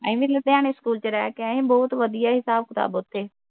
ਅਹੀ ਵੀ ਲੁਧਿਆਣੇ ਸਕੂਲ ਵਿੱਚ ਰਹਿ ਕੇ ਆਏ ਹਾਂ । ਬਹੁਤ ਵਧੀਆ ਹਿਸਾਬ ਕਿਤਾਬ ਉੱਥੇ।